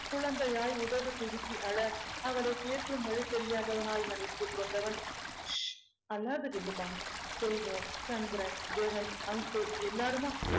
குழந்தையாய் உதடு பிதுக்கி அழ அவளை தேற்றும் வழி தெரியாதவனாய் கொண்டவன் ஷ்ஷ் அழாத ஜில்லுமா செல்வம் சந்திரன் ஜெகன் uncle எல்லாருமா